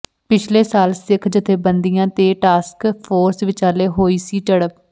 ਪਿਛਲੇ ਸਾਲ ਸਿੱਖ ਜਥੇਬੰਦੀਆਂ ਤੇ ਟਾਸਕ ਫੋਰਸ ਵਿਚਾਲੇ ਹੋਈ ਸੀ ਝਡ਼ਪ